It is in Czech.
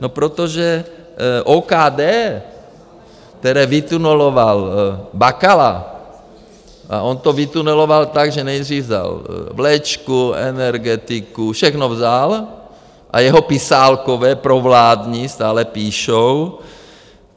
No protože OKD, které vytuneloval Bakala, a on to vytuneloval tak, že nejdřív vzal vlečku, energetiku, všechno vzal, a jeho pisálkové provládní stále píšou...